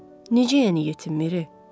Necə yəni yetim Miri?